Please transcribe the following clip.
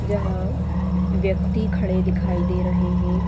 यहाँ व्यक्ति खड़े दिखाई दे रहें हैं ।